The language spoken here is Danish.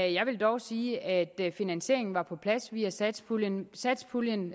jeg vil dog sige at finansieringen var på plads via satspuljen satspuljen